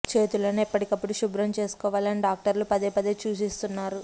చేతులను ఎప్పటికప్పుడు శుభ్రం చేసుకోవాలి అని డాక్టర్లు పదే పదే సూచిస్తున్నారు